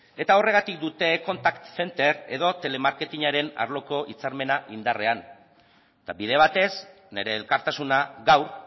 eta horregatik dute contac center edo telemarketingaren arloko hitzarmena indarrean eta bide batez nire elkartasuna gaur